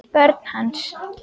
Börn hans.